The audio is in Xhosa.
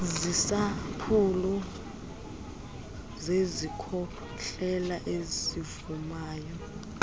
ziisampuli zezikhohlela ezivumayo